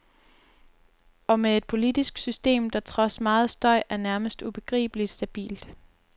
Og med et politisk system, der trods meget støj er nærmest ubegribeligt stabilt.